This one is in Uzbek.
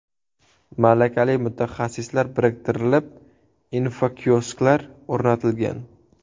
Malakali mutaxassislar biriktirilib, infokiosklar o‘rnatilgan.